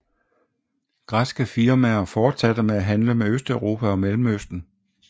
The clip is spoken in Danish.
Græske firmaer fortsatte med at handle med Østeuropa og Mellemøsten